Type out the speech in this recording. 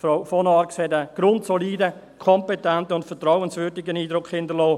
Frau von Arx hat einen grundsoliden, kompetenten und vertrauenswürdigen Eindruck hinterlassen.